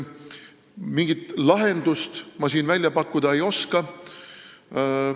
Mingit lahendust ma siin välja pakkuda ei oska.